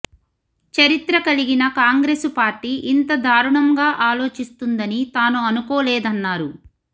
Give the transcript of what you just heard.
చరిత్ర కలిగిన కాంగ్రెసు పార్టీ ఇంత దారుణంగా ఆలోచిస్తుందని తాను అనుకోలేదన్నారు